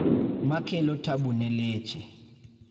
makelo tabu ne leche